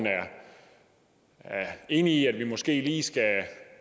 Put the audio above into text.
er enig i at vi måske lige skal